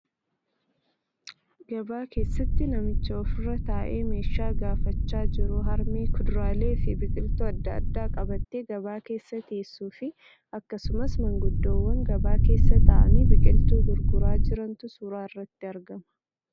Gabaa keessatti namicha ofirra taa'ee meeshaa gaafachaa jiru, harmee kuduraalee fi biqiltuu adda addaa qabattee gabaa keessa teeessu fi akkasumas maanguddoowwan gabaa keessa taa'anii biqiltuu gurguraa jirantu suura irratti argama.